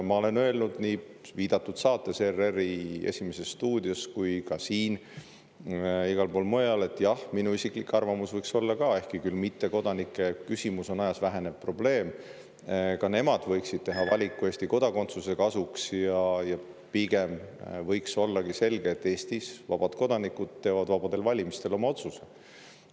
Ma olen öelnud nii viidatud saates, ERR‑i "Esimeses stuudios", kui ka siin ja igal pool mujal, jah, oma isikliku arvamuse, et ehkki küll mittekodanike küsimus on ajas vähenev probleem, võiksid ka nemad teha valiku Eesti kodakondsuse kasuks, ja pigem võiks olla selge, et Eestis teevad vabad kodanikud vabadel valimistel oma otsuse.